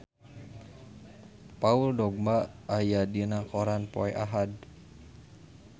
Paul Dogba aya dina koran poe Ahad